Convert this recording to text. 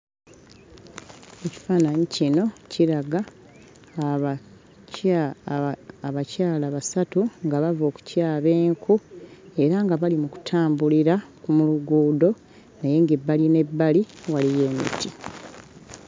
Ekifaananyi kino kiraga abakya... abakyala basatu nga bava okutyaba enku era nga bali mu kutambulira mu luguudo naye ng'ebbali n'ebbali waliyo emiti.